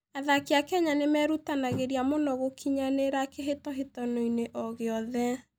Athaki a Kenya nĩ merutanagĩria mũno gũkinyanĩra kĩhĩtahĩtano-inĩ o gĩothe.